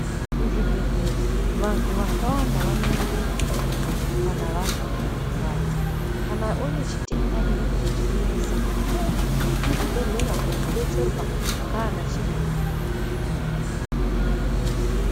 Mu zvibhehlera vantu vakawanda vano endemo kana vazwe pano rwadza kana une chitenda chinenge chechi kunesa unoenda mu chibhedhleya ko detserwa ndiana chiremba.